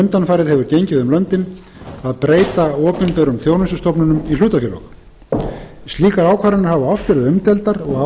undanfarið hefur gengið um löndin að breyta opinberum þjónustustofnunum í hlutafélög slíkar ákvarðanir hafa oft verið umdeildar og